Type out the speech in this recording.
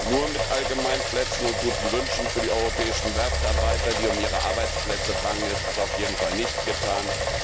Nur mit Allgemeinplätzen und guten Wünschen für die europäischen Werftarbeiter, die um ihre Arbeitsplätze bangen, ist es auf jeden Fall nicht getan.